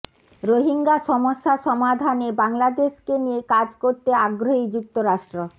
রোহিঙ্গা সমস্যা সমাধানে বাংলাদেশকে নিয়ে কাজ করতে আগ্রহী যুক্তরাষ্ট্র